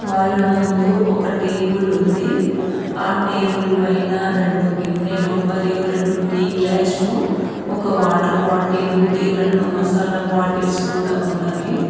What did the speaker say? వాళ్ళ ముందు ఒక టేబుల్ ఉంది ఆ టేబుల్ పైన రెండు గిన్నెలు మరియు రెండు టీ గ్లాసులు ఒక వాటర్ బాటిల్ ఉంది రెండు మసాలా బాటిల్స్ కూడా ఉన్నవి.